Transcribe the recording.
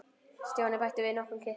Stjáni bætti við nokkrum kitlum.